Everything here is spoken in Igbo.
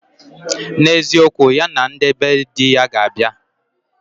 N'eziokwu, ya na ndị be di ya ga abịa